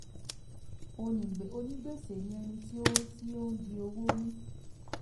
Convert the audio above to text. onígbèsè ni ẹni tí ó ń di ó ń di owó mú